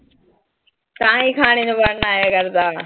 ਤਾਹੀਂ ਖਾਣੇ ਨੂੰ ਲਗਦਾ।